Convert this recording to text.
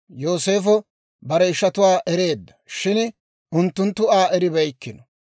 Yooseefo bare ishatuwaa ereedda; shin unttunttu Aa eribeykkino.